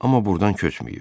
Amma burdan köçməyib.